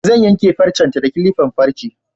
Zan yanke farcen ta da kilifan farce